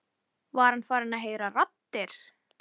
Var hann farinn að heyra raddir?